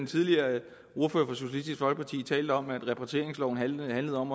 tidligere talte om at repatrieringsloven handlede om